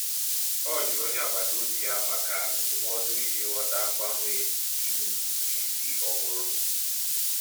Ọ jụrụ onye agbataobi ya maka ndụmọdụ iji ghọta mgbanwe iwu ụtụisi ọhụrụ.